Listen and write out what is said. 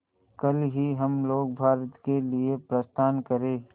कल ही हम लोग भारत के लिए प्रस्थान करें